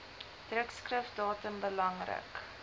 drukskrif datum belangrik